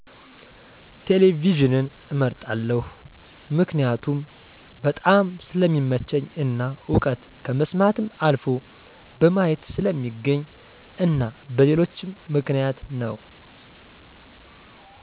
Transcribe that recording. ቴሌቪዥንን እመርጣለሁ። መክኒያቱም በጣም ስለሚመቸኝ እና እዉቀት ከመስማትም አልፎ በማየት ስለሚገኝ እና በሌሎችም ምክንያት ነው